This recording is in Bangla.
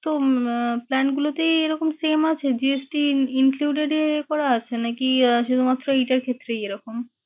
তো আহ plan গুলোতে এরকম same আছে GST incluted আহ করা আছে নাকি আহ শুধুমাত্র এটার ক্ষেত্রেই এরকম?